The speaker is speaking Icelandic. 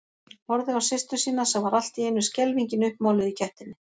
Horfði á systur sína sem var allt í einu skelfingin uppmáluð í gættinni.